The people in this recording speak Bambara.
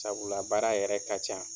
Sabula baara yɛrɛ ka can.